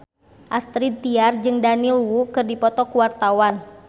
Astrid Tiar jeung Daniel Wu keur dipoto ku wartawan